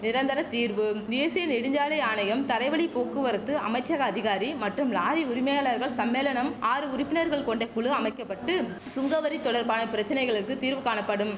நிரந்தர தீர்வு தேசிய நெடுஞ்சாலை ஆணையம் தரைவழி போக்குவரத்து அமைச்சக அதிகாரி மற்றும் லாரி உரிமையாளர்கள் சம்மேளனம் ஆறு உறுப்பினர்கள் கொண்ட குழு அமைக்க பட்டு சுங்கவரி தொடர்பான பிரச்சனைகளுக்கு தீர்வு காணப்படும்